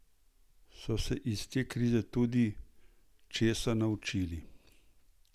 So se iz te krize tudi česa naučili?